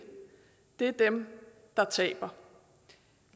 er dem der taber